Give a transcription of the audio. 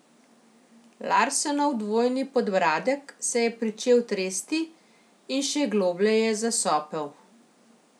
Larsenov dvojni podbradek se je pričel tresti in še globlje je zasopel.